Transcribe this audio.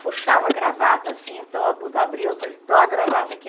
Puxava a gravata assim, então abu abria o paletó, a gravata aqui.